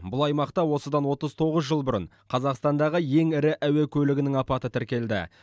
бұл аймақта осыдан отыз тоғыз жыл бұрын қазақстандағы ең ірі әуе көлігінің апаты тіркелді